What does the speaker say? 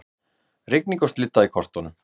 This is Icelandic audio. Rigning og slydda í kortunum